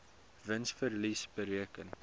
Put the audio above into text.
wins verlies bereken